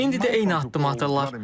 İndi də eyni addımı atırlar.